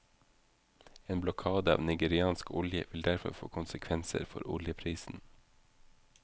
En blokade av nigeriansk olje vil derfor få konsekvenser for oljeprisen.